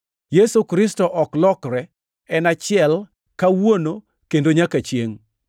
Yesu Kristo ok lokre en achiel, kawuono kendo nyaka chiengʼ.